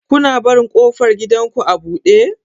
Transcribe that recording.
Kuna barin ƙofar gidanku a buɗe?